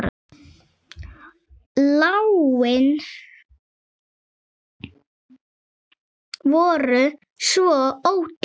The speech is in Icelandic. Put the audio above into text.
Lánin voru svo ódýr.